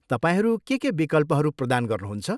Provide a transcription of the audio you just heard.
तपाईँहरू के के विकल्पहरू प्रदान गर्नुहुन्छ?